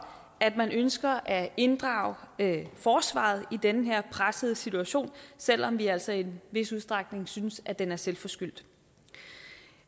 at man ønsker at inddrage forsvaret i den her pressede situation selv om vi altså i en vis udstrækning synes at den er selvforskyldt